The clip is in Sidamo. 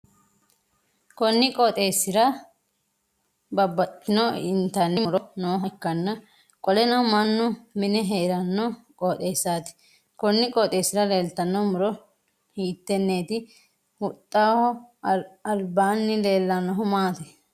Konni qooxeesira babbaxitino intanni muro nooha ikkanna qoleno mannu mi'ne heeranno qooxeesaati konni qooxeesira leltano muro hiiteneeti? Huxaho abanni leelanohu maati?